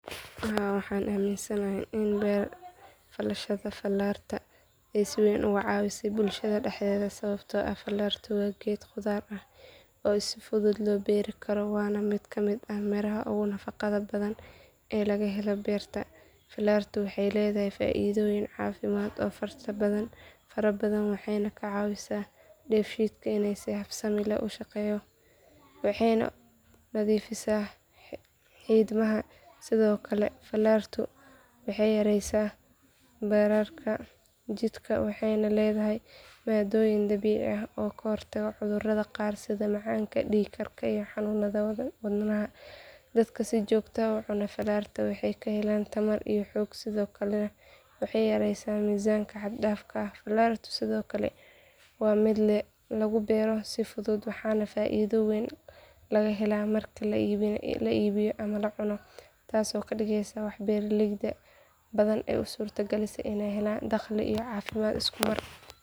Haa waxaan aaminsanahay in beerfalashada falaarta ay si weyn uga caawisay bulshada dhexdeeda sababtoo ah falaartu waa geed khudaar ah oo si fudud loo beeri karo waana mid ka mid ah miraha ugu nafaqada badan ee laga helo beerta falaartu waxay leedahay faa’iidooyin caafimaad oo fara badan waxay ka caawisaa dheefshiidka in si habsami leh u shaqeeyo waxayna nadiifisaa xiidmaha sidoo kale falaartu waxay yaraysaa bararka jidhka waxayna leedahay maaddooyin dabiici ah oo ka hortaga cudurrada qaar sida macaanka dhiig karka iyo xanuunada wadnaha dadka si joogto ah u cunaa falaarta waxay ka helaan tamar iyo xoog sidoo kalena waxay yareysaa miisaanka xad dhaafka ah falaartu sidoo kale waa mid lagu beero si fudud waxaana faa’iido weyn laga helaa marka la iibiyo ama la cuno taasoo ka dhigaysa wax beeraley badan u suurtagelisay inay helaan dakhli iyo caafimaad isku mar.